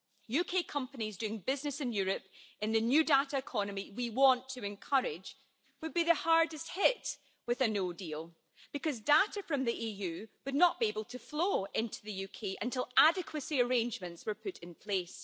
UK companies doing business in Europe in the new data economy we want to encourage would be the hardest hit with a no deal because data from the EU would not be able to flow into the UK until adequacy arrangements were put in place.